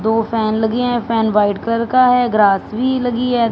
दो फैन लगी है फैन व्हाइट कलर का है ग्रास भी लगी है।